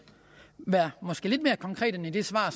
være lidt mere konkret end i det svar